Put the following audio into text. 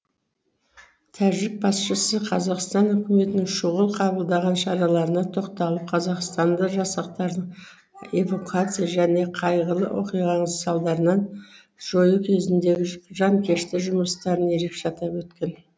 тәжік басшысы қазақстан үкіметінің шұғыл қабылдаған шараларына тоқталып қазақстандық жасақтардың эвакуация және қайғылы оқиғаның салдарын жою кезіндегі жанкешті жұмыстарын ерекше атап өткен